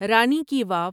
رانی کی واو